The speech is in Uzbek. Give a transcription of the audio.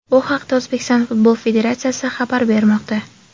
Bu haqda O‘zbekiston Futbol Federatsiyasi xabar bermoqda .